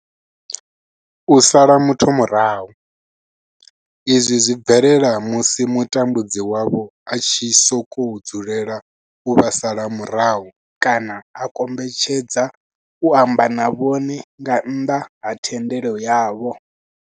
U sala muthu murahu, izwi zwi bvelela musi mutambudzi wavho a tshi sokou dzulela u vha sala murahu kana a kombetshedza u amba na vhone nga nnḓa ha thendelo yavho.